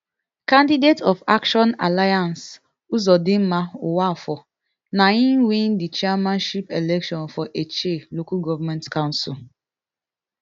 candidate of action alliance uzodinma nwafor na im win di chairmanship election for etche local government council